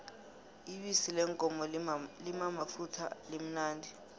ibisi leenkomo limamafutha limnandi